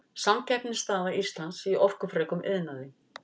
samkeppnisstaða íslands í orkufrekum iðnaði